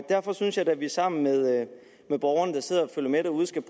derfor synes jeg da at vi sammen med borgerne der sidder og følger med derude skal